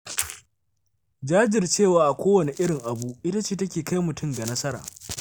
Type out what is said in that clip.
Jajircewa a kowane irin abu ita ce take kai mutum ga nasara.